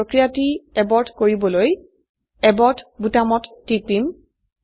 আমি প্ৰক্ৰিয়াটি এবৰ্ট কৰিবলৈ এবৰ্ট বোতামত টিপিম